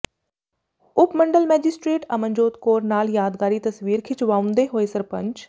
ਉਪ ਮੰਡਲ ਮੈਜਿਸਟ੍ਰੇਟ ਅਮਨਜੋਤ ਕੌਰ ਨਾਲ ਯਾਦਗਾਰੀ ਤਸਵੀਰ ਖਿਚਵਾਉਂਦੇ ਹੋਏ ਸਰਪੰਚ